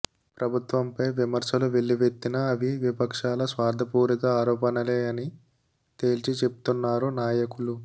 ప్రభుత్వం పై వివమర్శలు వెల్లువెత్తినా అవి విపక్షాల స్వార్థ పూరిత ఆరోపణలే అని తేల్చి చెప్తున్నారు నాయకులు